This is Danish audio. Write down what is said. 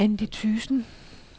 Andy Thyssen